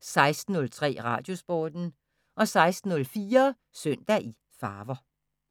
16:03: Radiosporten 16:04: Søndag i farver